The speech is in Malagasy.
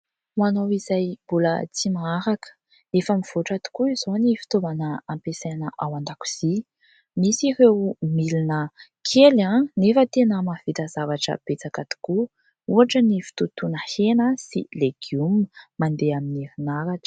Ho anao izay mbola tsy maharaka, efa mivoatra tokoa izao ny fitaovana ampiasaina ao an-dakozia. Misy ireo milina kely nefa tena mahavita zavatra betsaka tokoa. Ohatra ny fitotoana hena sy legioma mandeha amin'ny erinaratra.